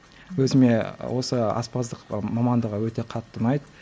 өзіме осы аспаздық ы мамандығы өте қатты ұнайды